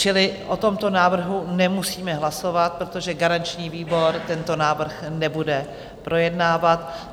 Čili o tomto návrhu nemusíme hlasovat, protože garanční výbor tento návrh nebude projednávat.